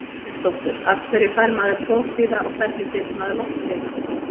Hannesdóttur Af hverju fær maður prófkvíða og hvernig getur maður losnað við hann?